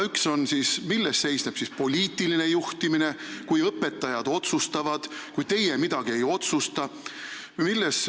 Üks neist on, milles seisneb siis poliitiline juhtimine, kui õpetajad otsustavad ja kui teie midagi ei otsusta.